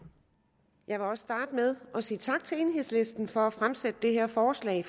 jeg vil også starte med at sige tak til enhedslisten for har fremsat det her forslag